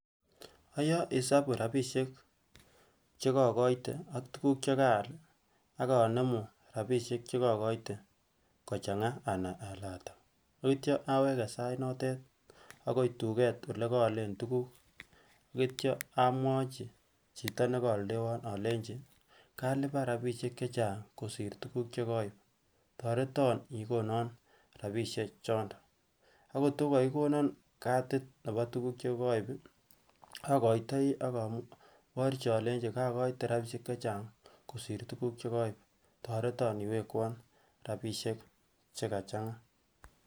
ayoe isabu rapisiek chekokoite ak tukuk chekaaal akonemu rapisiek chekokoite kochanga anai ole ataa akitya aweke sait notet akoi tuket olekoolen tukuk akitya amwochi chito nekooldewon olenji kalipaan rapisiek chechang kosir tukuk chekoib toreton ikonon rapisiek chondon ako kotko kokikonon cadit nebo tukuk chekoib akoitoi akoborchi olenji kokoite rapisiek chechang kosir tukuk chekoib toreton iwekwon rapisiek chekachanga